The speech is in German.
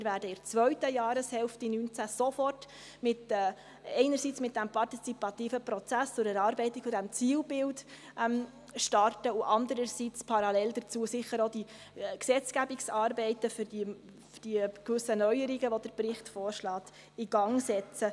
Wir werden in der zweiten Jahreshälfte 2019 sofort einerseits mit dem partizipativen Prozess zur Erarbeitung dieses Zielbilds starten und andererseits parallel dazu sicher auch die Gesetzgebungsarbeiten in Gang setzen, für die gewissen Neuerungen, die der Bericht vorschlägt.